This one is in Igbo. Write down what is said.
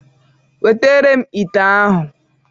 Wetara m ite ahụ.